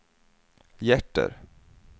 hjärter